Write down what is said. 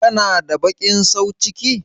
Kana da baƙin sauciki?